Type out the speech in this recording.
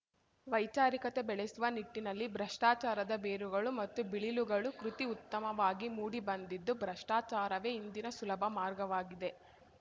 ವೈಚಾರಿಕತೆ ಬೆಳೆಸುವ ನಿಟ್ಟಿನಲ್ಲಿ ಭ್ರಷ್ಟಾಚಾರದ ಬೇರುಗಳು ಮತ್ತು ಬಿಳಿಲುಗಳು ಕೃತಿ ಉತ್ತಮವಾಗಿ ಮೂಡಿ ಬಂದಿದ್ದು ಭ್ರಷ್ಟಾಚಾರವೇ ಇಂದಿನ ಸುಲಭ ಮಾರ್ಗವಾಗಿದೆ